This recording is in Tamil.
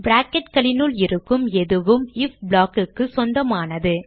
bracketகளினுள் இருக்கும் எதுவும் ஐஎஃப் block க்கு சொந்தமானது